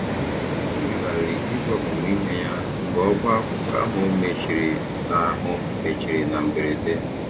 O megharịrị ìgwè ọmụmụ ihe ya mgbe ọbá akwụkwọ ahụ mechiri na ahụ mechiri na mberede.